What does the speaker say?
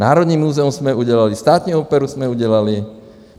Národní muzeum jsme udělali, Státní operu jsme udělali.